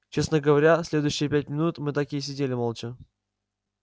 честно говоря следующие пять минут мы так и сидели молча